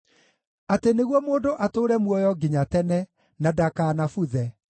atĩ nĩguo mũndũ atũũre muoyo nginya tene, na ndakanabuthe.